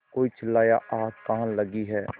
कोई चिल्लाया आग कहाँ लगी है